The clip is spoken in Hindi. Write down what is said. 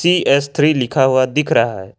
टी_एस थ्री लिखा हुआ दिख रहा है।